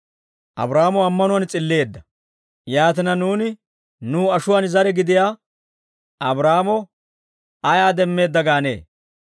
Yaatina, nuuni nuw ashuwaan zare gidiyaa Abraahaamo ayaa demmeedda gaanee?